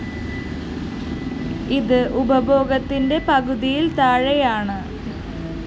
ഇത് ഉപഭോഗത്തിന്റെ പകുതിയില്‍ താഴെയാണ്